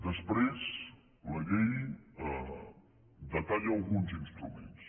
després la llei detalla alguns instruments